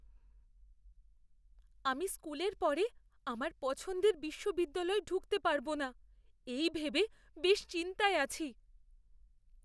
আমি স্কুলের পরে আমার পছন্দের বিশ্ববিদ্যালয়ে ঢুকতে পারব না, এই ভেবে বেশ চিন্তায় আছি।